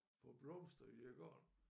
Få blomster i æ garn